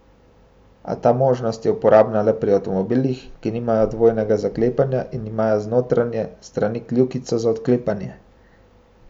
A ta možnost je uporabna le pri avtomobilih, ki nimajo dvojnega zaklepanja in imajo z notranje strani kljukico za odklepanje.